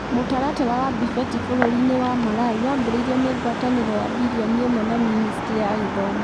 Mũtaratara wa BEFIT bũrũri-inĩ wa Malawi wambĩrĩirio nĩ ngwatanĩro ya billion ĩmwe na Ministry ya Gĩthomo.